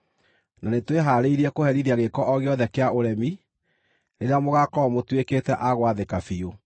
Na nĩtwĩhaarĩirie kũherithia gĩĩko o gĩothe kĩa ũremi, rĩrĩa mũgaakorwo mũtuĩkĩte a gwathĩka biũ.